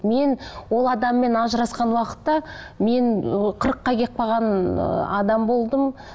мен ол адаммен ажырасқан уақытта мен ы қырыққа келіп қалған ы адам болдым